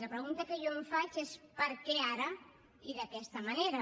la pregunta que jo em faig és per què ara i d’aquesta manera